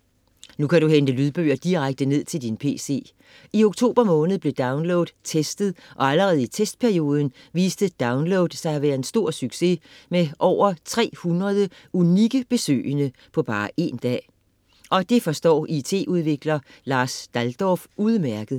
Nu kan du hente lydbøger direkte ned til din pc. I oktober måned blev download testet og allerede i testperioden viste download sig at være en stor succes med over 300 unikke besøgende på bare én dag. Og det forstår it-udvikler Lars Daldorph udmærket: